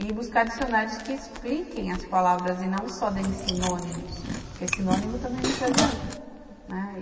e buscar dicionários que expliquem as palavras e não só deem sinônimos, porque sinônimo também não te adianta, né. E